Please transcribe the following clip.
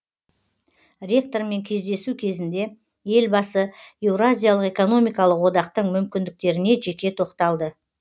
ректормен кездесу кезінде елбасы еуразиялық экономикалық одақтың мүмкіндіктеріне жеке тоқталды